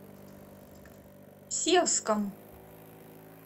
севском